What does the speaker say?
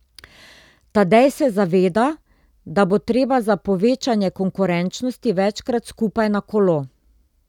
Tadej se zaveda, da bo treba za povečanje konkurenčnosti večkrat skupaj na kolo.